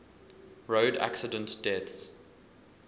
road accident deaths